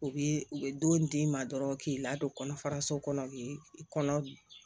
U bi u bɛ don d'i ma dɔrɔn k'i ladon kɔnɔfaraso kɔnɔ k'i kɔnɔ